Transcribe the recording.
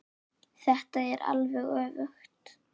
Þetta er alveg öfugt.